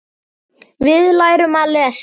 Við lærum að lesa.